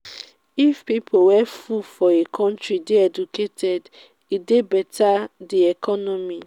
if pipo wey full for a country de educated e de better di economy